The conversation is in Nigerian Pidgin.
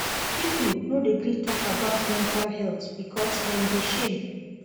Pipo no dey gree tok about mental health because dem dey shame.